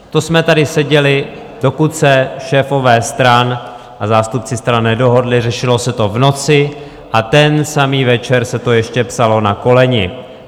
To jsme tady seděli, dokud se šéfové stran a zástupci stran nedohodli, řešilo se to v noci a ten samý večer se to ještě psalo na koleni.